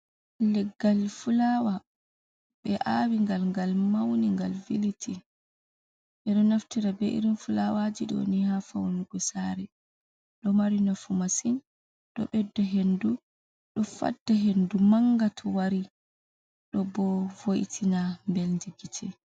Leggal fulawa be awi gal, gal mauni gal viliti e do naftira be irin fulawaji doni ha faunugu sare do mari nafu masin do bedda hendu do fadda hendu mangata wari do bo vo’itina beldi gite.